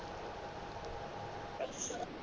ਅੱਛਾ